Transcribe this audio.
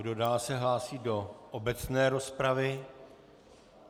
Kdo dál se hlásí do obecné rozpravy?